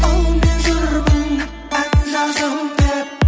ал мен жүрмін ән жазам деп